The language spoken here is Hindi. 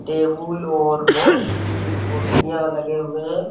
टेबुल और बहुत ही कुर्सियां लगे हुए है ।